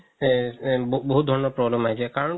এই এই বহুত ধৰণৰ problem আহি যাই কাৰণতো